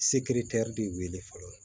Sekiretɛri de weele fɔlɔ